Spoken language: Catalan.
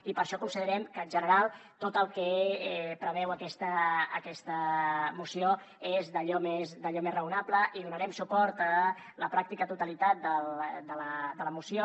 i per això considerem que en general tot el que preveu aquesta moció és d’allò més raonable i donarem suport a la pràctica totalitat de la moció